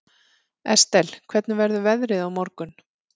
Estel, hvernig verður veðrið á morgun?